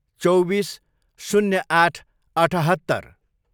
चौबिस, शून्य आठ, अठहत्तर